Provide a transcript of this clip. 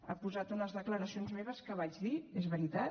ha posat unes declaracions meves que vaig dir és veritat